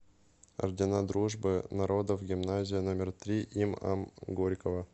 ордена дружбы народов гимназия номер три им ам горького